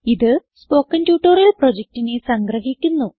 ഇത് സ്പോകെൻ പ്രൊജക്റ്റിനെ സംഗ്രഹിക്കുന്നു